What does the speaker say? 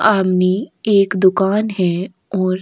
सामने एक दुकान है और--